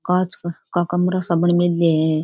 कांच का कमरा सा बन मैलया है।